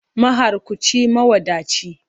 Mahakurci, mawadaci.